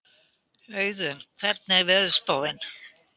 Auðunn, hvernig er veðurspáin?